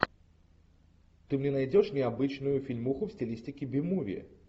ты мне найдешь необычную фильмуху в стилистике би муви